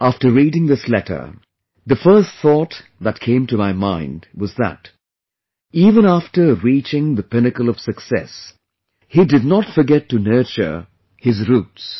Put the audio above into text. After reading this letter, the first thought that came to my mind was that even after reaching the pinnacle of success, he did not forget to nurture his roots